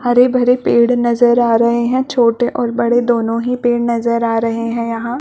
हरे-भरे पेड़ नज़र आ रहे है छोटे -और बड़े दोनों ही पेड़ नज़र आ रहे है यहाँ--